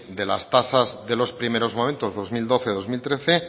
de las tasas de los primeros momentos dos mil doce dos mil trece